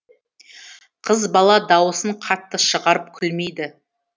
қыз бала дауысын қатты шығарып күлмейді